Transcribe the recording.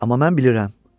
Amma mən bilirəm.